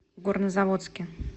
горнозаводске